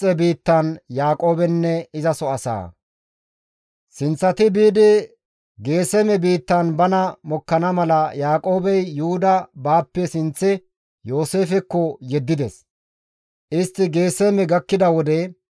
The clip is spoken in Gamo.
Sinththati biidi Geeseme biittan bana mokkana mala Yaaqoobey Yuhuda baappe sinththe Yooseefekko yeddides; istti Geeseme gakkida wode,